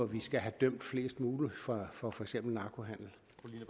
vi skal have dømt flest muligt for for for eksempel narkohandel